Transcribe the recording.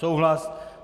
Souhlas?